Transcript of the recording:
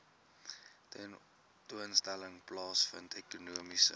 tentoonstelling plaasvind ekonomiese